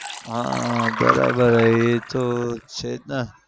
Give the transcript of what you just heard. હા બરાબર એતો છે જ ને